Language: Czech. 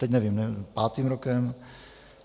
Teď nevím, pátým rokem?